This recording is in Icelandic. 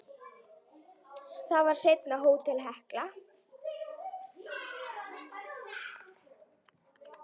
Það var seinna Hótel Hekla.